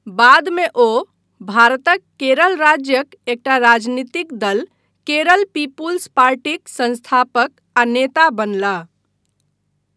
बादमे ओ भारतक केरल राज्यक एकटा राजनीतिक दल, केरल पीपुल्स पार्टीक सँस्थापक आ नेता बनलाह।